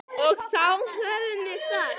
Og þá höfum við það.